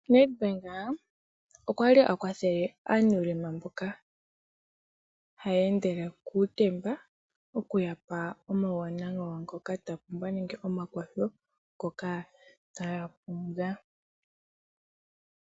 Nedbank okwali a kwathele mboka ye na uulema wontumba nohaya ende kuutemba, okuya pa omauwanawa nenge omakwatho ngoka taya pumbwa.